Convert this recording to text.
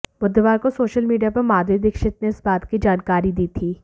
बुधवार को social media पर माधुरी दीक्षित ने इस बात की जानकारी दी थी